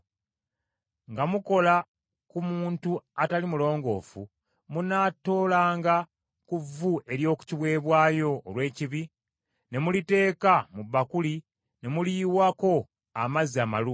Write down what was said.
“Nga mukola ku muntu atali mulongoofu, munaatoolanga ku vvu ery’oku kiweebwayo olw’ekibi ne muliteeka mu bbakuli ne muliyiwako amazzi amalungi.